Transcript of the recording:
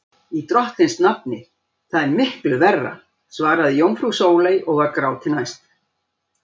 Í drottins nafni, það er miklu verra, svaraði jómfrú Sóley og var gráti næst.